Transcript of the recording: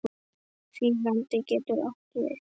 Þýðandi getur átt við